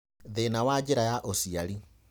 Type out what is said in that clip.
Thĩna ya njĩra ya ũciari.